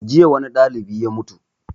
Jiya wani ɗalibi ya mutu